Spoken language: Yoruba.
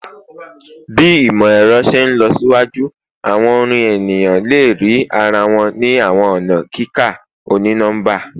Bi imọ-ẹrọ ṣe nlọsiwaju awọn orin eniyan le rii ara wọn ni awọn ọna kika oni-nọmba